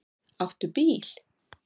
Áttu bíl?